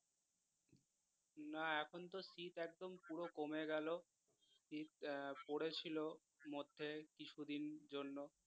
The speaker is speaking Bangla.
না এখন তো শীত এখন পুরো কমে গেল শীত আহ পড়েছিল মধ্যে কিছুদিনের জন্য